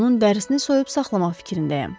Onun dərisini soyub saxlamaq fikrindəyəm.